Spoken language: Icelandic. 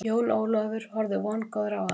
Jón Ólafur horfði vongóður á hana.